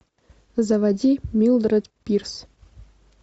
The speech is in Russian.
заводи милдред пирс